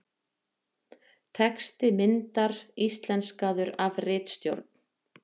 texti myndar íslenskaður af ritstjórn